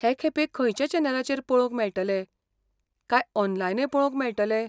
हे खेपे खंयच्या चॅनलाचेर पळोवंक मेळटले, काय ऑनलायनय पळोवंक मेळटले?